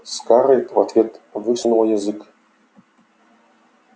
скарлетт в ответ высунула язык